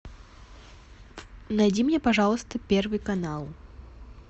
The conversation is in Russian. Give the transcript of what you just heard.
найди мне пожалуйста первый канал